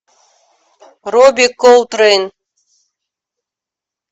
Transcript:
робби колтрейн